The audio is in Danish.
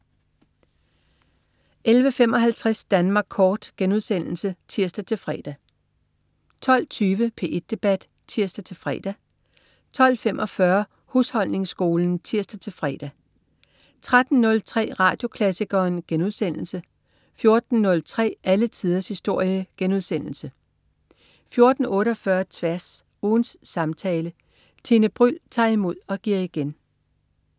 11.55 Danmark Kort* (tirs-fre) 12.20 P1 Debat (tirs-fre) 12.45 Husholdningsskolen (tirs-fre) 13.03 Radioklassikeren* 14.03 Alle tiders historie* 14.48 Tværs. Ugens samtale. Tine Bryld tager imod og giver igen